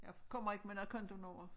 Jeg kommer ikke med noget kontonummer